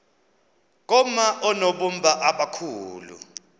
koma oonobumba abakhulu